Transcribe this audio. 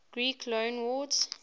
greek loanwords